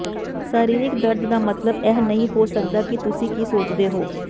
ਸਰੀਰਕ ਦਰਦ ਦਾ ਮਤਲਬ ਇਹ ਨਹੀਂ ਹੋ ਸਕਦਾ ਕਿ ਤੁਸੀਂ ਕੀ ਸੋਚਦੇ ਹੋ